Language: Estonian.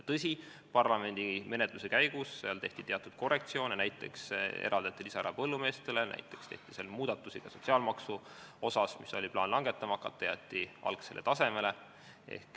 Tõsi, parlamendimenetluse käigus tehti teatud korrektsioone, näiteks eraldati lisaraha põllumeestele, tehti ka sotsiaalmaksumuudatusi, oli plaan seda langetama hakata, aga see jäeti algsele tasemele.